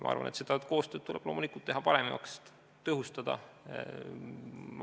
Ma arvan, et koostööd tuleb teha loomulikult paremaks, tõhustada.